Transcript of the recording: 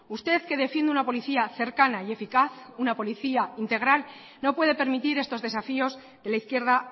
usted que defiende una policía cercana y eficaz una policía integral no puede permitir estos desafíos de la izquierda